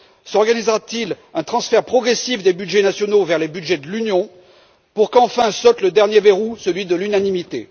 S'organisera t il un transfert progressif des budgets nationaux vers les budgets de l'Union pour qu'enfin saute le dernier verrou, celui de l'unanimité?